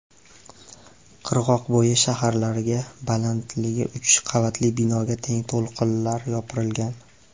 Qirg‘oqbo‘yi shaharlariga balandligi uch qavatli binoga teng to‘lqinlar yopirilgan.